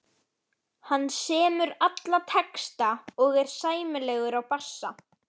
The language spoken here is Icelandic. Hann semur alla texta og er sæmilegur á bassa.